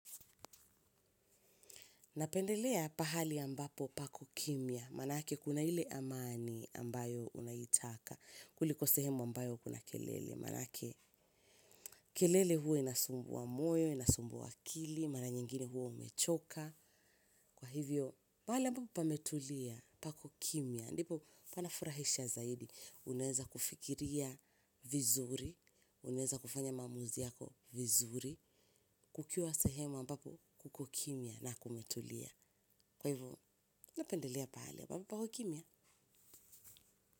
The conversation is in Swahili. Napendelea pahali ambapo pako kimya, maanake kuna ile amani ambayo unaitaka, kuliko sehemu ambayo kuna kelele, maanake kelele hua inasumbua moyo, inasumbua akili, mara nyengine hua umechoka, kwa hivyo pahali ambapo pametulia pako kimya, ndipo panafurahisha zaidi, unaeza kufikiria vizuri, unaeza kufanya maamuzi yako vizuri, kukiwa sehemu ambapo kuko kimya na kumetulia. Kwa hivo, napendelea pahali ambapo pako kimya.